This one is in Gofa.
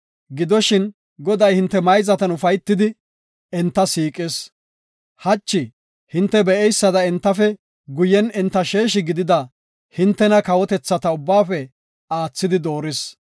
Gidoshin, Goday hinte mayzatan ufaytidi, enta siiqis; hachi hinte be7eysada entafe guyen enta sheeshi gidida hintena kawotethata ubbaafe aathidi dooris.